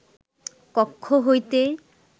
কক্ষ হইতে